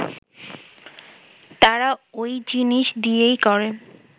তারা ওই জিনিস দিয়েই করে